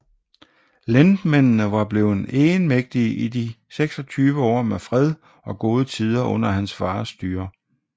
Lendmændene var blevet egenmægtige i de 26 år med fred og gode tider under hans fars styre